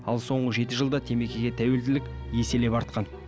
ал соңғы жеті жылда темекіге тәуелділік еселеп артқан